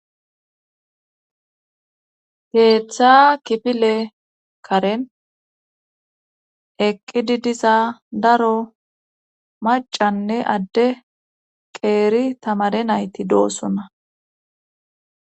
Teeththa kipile karen eqqidi diza daro macanne adde qeeri tamare nayti doosona.